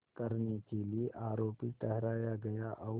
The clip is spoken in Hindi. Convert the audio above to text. करने के लिए आरोपी ठहराया गया और